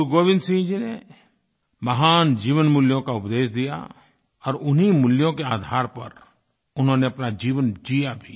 गुरुगोविन्द सिंह जी ने महान जीवन मूल्यों का उपदेश दिया और उन्हीं मूल्यों के आधार पर उन्होंने अपना जीवन जिया भी